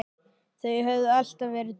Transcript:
Þau höfðu alltaf verið tvö.